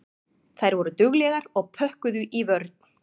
Þær voru duglegar og pökkuðu í vörn.